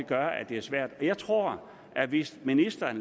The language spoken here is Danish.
gør at det er svært jeg tror at hvis ministeren